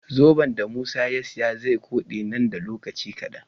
Zoben da musa ya siya ze kode nan da lokaci kadan